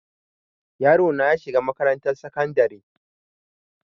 yarona yashiga makarantan sakandare